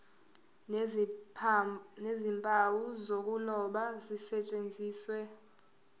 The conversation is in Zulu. nezimpawu zokuloba zisetshenziswe